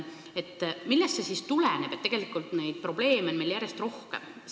Millest see siis tuleneb, et neid probleeme on meil järjest rohkem?